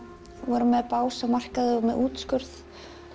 voru með bás á markaði og með útskurð